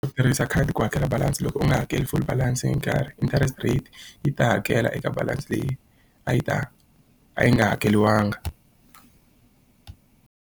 Ku tirhisa khadi ku hakela balance loko u nga hakeli full balance hi nkarhi, interest rate yi ta hakela eka balance leyi a yi ta a yi nga hakeriwanga.